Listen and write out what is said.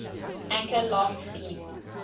anchor long seen